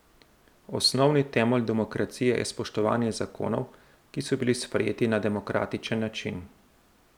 Osnovni temelj demokracije je spoštovanje zakonov, ki so bili sprejeti na demokratičen način.